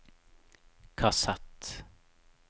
kassett